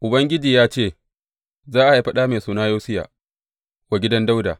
Ubangiji ya ce, Za a haifi ɗa mai suna Yosiya wa gidan Dawuda.